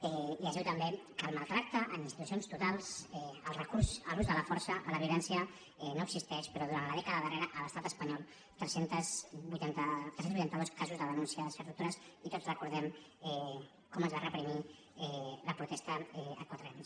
i es diu també que el maltractament en institucions totals el recurs a l’ús de la força a la violència no existeix però durant la dècada darrera a l’estat espanyol tres cents i vuitanta dos caos de denúncies de tortures i tots recordem com es va reprimir la protesta a quatre camins